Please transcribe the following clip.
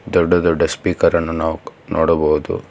ದೊಡ್ಡ ದೊಡ್ಡ ಸ್ಪೀಕರ್ ಅನ್ನು ನಾವು ನೋಡಬಹುದು.